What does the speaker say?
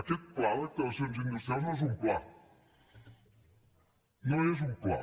aquest pla d’actuacions industrials no és un pla no és un pla